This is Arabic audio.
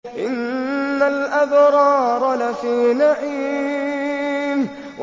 إِنَّ الْأَبْرَارَ لَفِي نَعِيمٍ